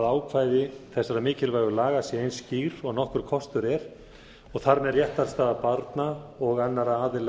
ákvæði þessara mikilvægu laga sé eins skýr og nokkur kostur er og þar með réttarstaða barna og annarra aðila